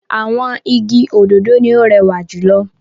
Àwọn igi òdòdó ni ó rẹwà jù lọ.